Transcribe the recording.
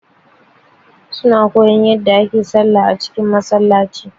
Su na koyan yadda ake sallah a cikin Masallaci